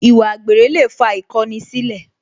Ìwà àgbèrè lè fa ìkọni sílẹ̀